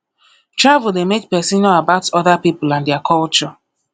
travel dey make person know about other pipo and their culture